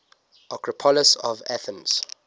acropolis of athens